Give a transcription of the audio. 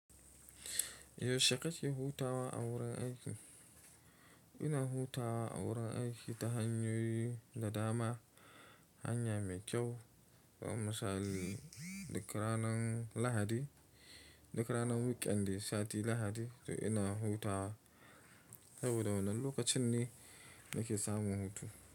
Yaushe kake hutawa a wurin aiki? Ina hutawa a wurin aiki ta hanyoyi da dama, hanya mai kyau. To, misali duk ranar Lahadi, duk ranar Weekend dai sati Lahadi to ina hutawa saboda wannan lokacin ne nake samun hutu.